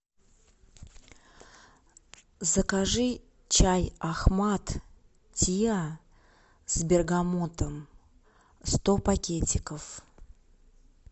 закажи чай ахмад тиа с бергамотом сто пакетиков